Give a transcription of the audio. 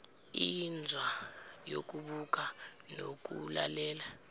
inzwa yokubuka nokulalela